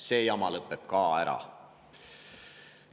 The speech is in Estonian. See jama lõpeb ka ära.